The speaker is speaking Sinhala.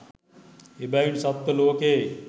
එබැවින් සත්ව ලෝකයෙහි